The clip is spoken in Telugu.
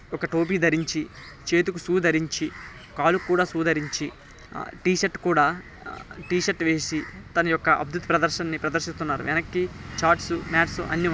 ఒక టోపీ ధరించి చేతికి షూ దరించి కాళ్ళకి కూడా షూ దరించి టి షర్ట్ కూడా టి షర్ట్ వేసి తన ఒక అద్బుత ప్రదర్శన నీ ప్రదర్శిస్తున్నారు.